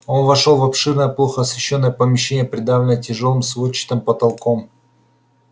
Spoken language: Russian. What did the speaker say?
он вошёл в обширное плохо освещённое помещение придавленное тяжёлым сводчатым потолком